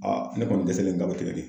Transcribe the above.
Aa ne kɔni dɛsɛlen ta be tigɛ de .